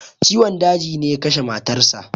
Ciwon daji ne ya kashe matar sa.